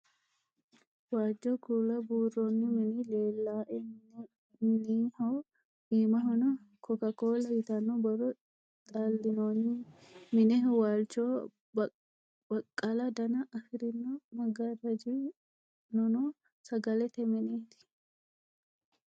Waajjo kuula buurronn minni leela'e minneho imahono coca-cola yitanno borro xalinonni meneho waalichoho baqqala Dana afirinno magarajji noo sagalete minetti